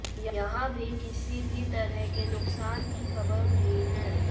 यहां भी किसी भी तरह के नुकसान की खबर नहीं है